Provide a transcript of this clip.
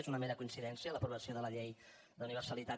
és una mera coincidència l’aprovació de la llei d’universalitat